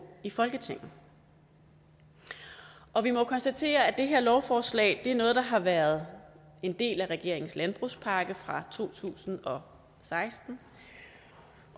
i folketinget og vi må jo konstatere at det her lovforslag er noget der har været en del af regeringens landbrugspakke fra to tusind og seksten